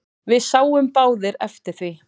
Við sáum báðir eftir því.